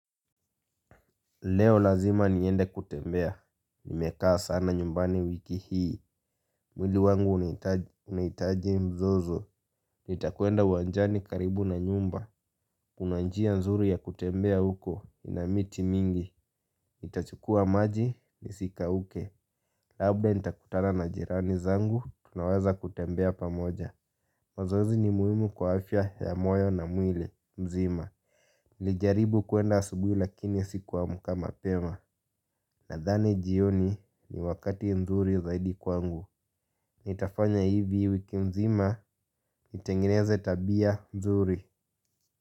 Leo lazima niende kutembea, nimekaa sana nyumbani wiki hii. Mwili wangu unaitaji mzozo. Nitakwenda uwanjani karibu na nyumba. Kuna njia nzuri ya kutembea huko, ina miti mingi. Nitachukua maji, nisikauke. Labda nitakutana na jirani zangu, tunaweza kutembea pamoja. Mazoezi ni muhimu kwa afya ya moyo na mwili, mzima. Nijaribu kuenda asubui lakini sikusmka mapema. Nadhani jioni ni wakati nzuri zaidi kwangu. Nitafanya hivi wiki nzima nitengeneze tabia nzuri.